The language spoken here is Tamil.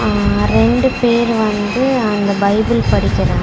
அ ரெண்டு பேர் வந்து அந்த பைபிள் படிக்கிறா--